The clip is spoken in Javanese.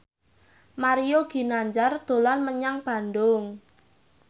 Mario Ginanjar dolan menyang Bandung